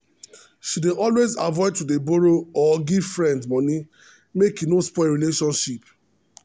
she dey always avoid to dey borrow or give friends money make e no spoil relationship.